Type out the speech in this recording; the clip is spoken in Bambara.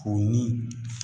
O ni